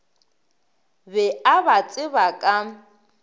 be a ba tseba ka